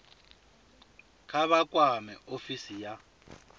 kha vha kwame ofisi ya